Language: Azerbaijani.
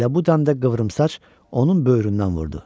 Elə bu dəm də qıvrımsaç onun böyründən vurdu.